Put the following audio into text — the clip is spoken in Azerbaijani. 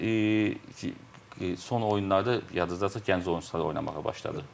Və bizim son oyunlarda yadınızdadırsa gənc oyunçular oynamağa başladı.